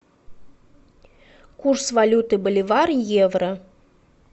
курс валюты боливар евро